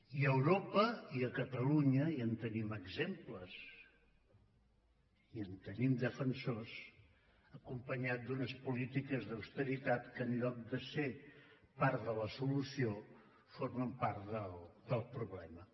i a europa i a catalunya ja en tenim exemples i en tenim defensors acompanyat d’unes polítiques d’austeritat que en lloc de ser part de la solució formen part del problema